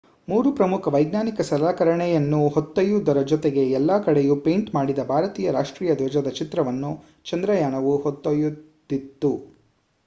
ಮೂರು ಪ್ರಮುಖ ವೈಜ್ಞಾನಿಕ ಸಲಕರಣೆಯನ್ನು ಹೊತ್ತೊಯ್ಯುವುದರ ಜೊತೆಗೆ ಎಲ್ಲ ಕಡೆಯೂ ಪೇಂಟ್ ಮಾಡಿದ ಭಾರತೀಯ ರಾಷ್ಟ್ರೀಯ ಧ್ವಜದ ಚಿತ್ರವನ್ನು ಚಂದ್ರಯಾನವು ಹೊತ್ತೊಯ್ದಿತ್ತು